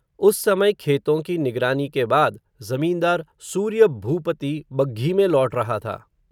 उस समय खेतो की निगरानी के बाद, ज़मींदार, सूर्य भूपति बग्घी में लौट रहा था